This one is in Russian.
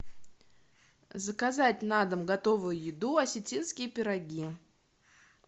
заказать на дом готовую еду осетинские пироги